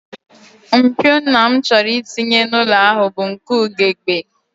Mpio nna m chọrọ itinye n'ụlọ ọhụụ ya bụ nke ugegbe